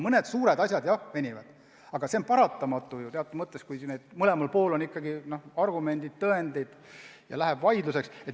Mõned suured asjad jah venivad, aga see on teatud mõttes paratamatu, kui mõlemal poolel on omad argumendid ja tõendid ja läheb vaidluseks.